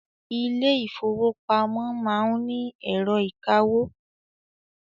Ilé ìfọwọ́pamo má ń ni ẹ̀rọ ìkawó.